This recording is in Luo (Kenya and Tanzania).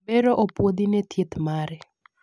bero opuodhi ne thieth mare